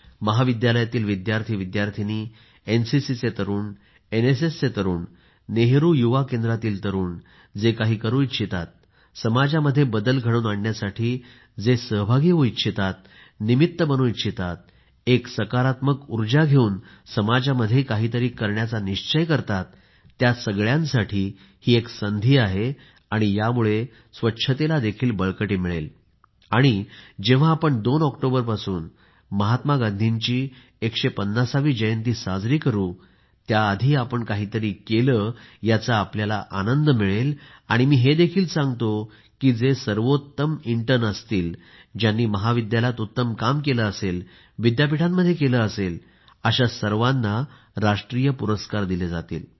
महाविद्यालयातील विद्यार्थीविद्यार्थिनी एनसीसीचे तरुण एनएसएसचे तरुण नेहरू युवा केंद्रातील तरुण जे काही करू इच्छितात समाजात बदल घडवून आणण्यासाठी जे सहभागी होऊ इच्छितात निमित्त बनू इच्छितात एक सकारात्मक उर्जा घेऊन समाजामध्ये काहीतरी करण्याचा निश्चय करतात त्या सर्वांसाठी एक संधी आहे आणि यामुळे स्वच्छतेला देखील बळकटी मिळेल आणि जेव्हा आपण 2 ऑक्टोंबर पासून महात्मा गांधींची 150वी जयंती साजरी करू त्याआधी आपण काहीतरी केले याचा आपला आनंद मिळेल आणि मी हे देखील सांगतो की जे सर्वोत्तम प्रशिक्षुक असतील ज्यांनी महाविद्यालयात उत्तम काम केले असेल विद्यापीठांमध्ये केले असेल अशा सर्वांना राष्ट्रीय पुरस्कार दिले जातील